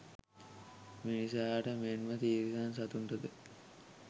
මිනිසාට මෙන්ම තිරිසන් සතුන්ටද